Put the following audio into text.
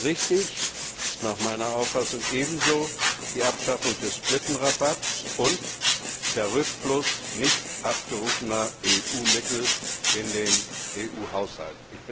Richtig ist nach meiner Auffassung ebenso die Abschaffung des Britenrabatts und der Rückfluss nicht abgerufener EU Mittel in den EU Haushalt.